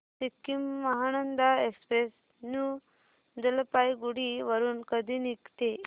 Sikkim Mahananda express new Jalpaiguri वरून कधी निघते